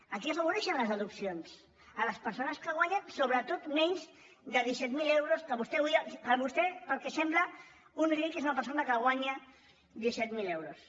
a qui afavoreixen les deduccions a les persones que guanyen sobretot menys de disset mil euros que per vostè pel que sembla un ric és una persona que guanya disset mil euros